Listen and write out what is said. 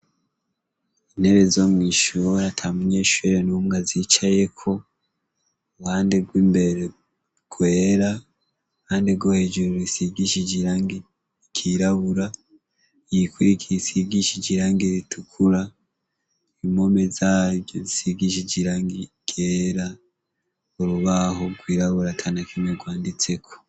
Intebe zo mw'ishuri ata munyeshure numwe azicayeko, iruhande rw'imbere rwera iruhande rwo hejuru rusigishije irangi ry'irabura, iyi kurikira isigishije irangi ritukura impome zaryo zisigishije irangi ryera urubaho rwirabura atanakimwe rwanditseko.